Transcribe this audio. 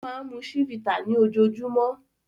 Ó máa ń mu Chivita ní ojoojúmọ́.